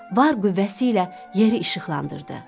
Var qüvvəsi ilə yeri işıqlandırdı.